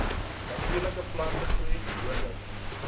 natuurlike plantegroei gewoonlik